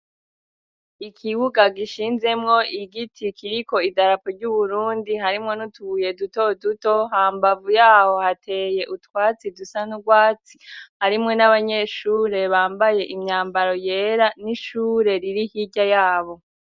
Ikibuga gishinzemwo igiti, kiriko idarapo ry'Uburundi, harimwo n'utubuye dutoduto, hambavu yaho hateye utwatsi dusa n'ubwatsi, harimwo n'abanyeshure bambaye imyambaro yera, n'ishure riri hirya yabo.